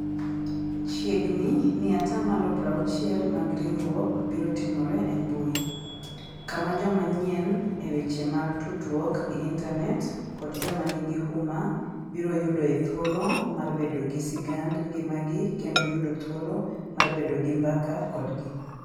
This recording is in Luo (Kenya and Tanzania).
Chiegni ni atamalo 60 mag riurwok biro timore e mbui, kama joma nyien e weche mag tudruok gi intanet, kod joma nigi huma, biro yudoe thuolo mar bedo gi sigand ngimagi kendo yudo thuolo mar bedo gi mbaka kodgi.